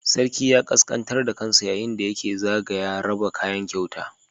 Sarki ya ƙasƙantar da kansa yayin da yake zagaya raba kayan kyauta